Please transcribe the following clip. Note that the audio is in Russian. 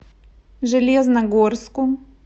железногорску